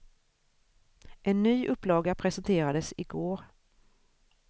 En ny upplaga presenterades i går.